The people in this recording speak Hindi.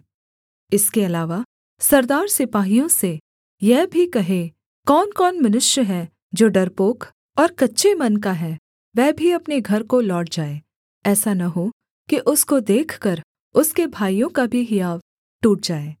इसके अलावा सरदार सिपाहियों से यह भी कहें कौनकौन मनुष्य है जो डरपोक और कच्चे मन का है वह भी अपने घर को लौट जाए ऐसा न हो कि उसको देखकर उसके भाइयों का भी हियाव टूट जाए